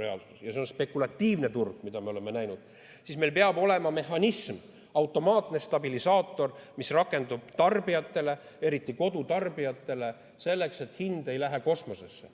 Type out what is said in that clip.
ja see on spekulatiivne turg, mida me oleme näinud, siis meil peab olema mehhanism, automaatne stabilisaator, mis rakendub tarbijatele, eriti kodutarbijatele, selleks et hind ei läheks kosmosesse.